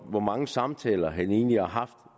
hvor mange samtaler han egentlig har haft